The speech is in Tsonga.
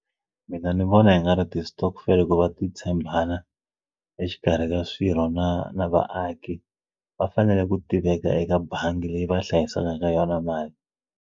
Mina ni vona hi nga ri ti-stokvel ku va ti tshembana exikarhi ka swirho na na vaaki va fanele ku tiveka eka bangi leyi va hlayisaka ka yona mali.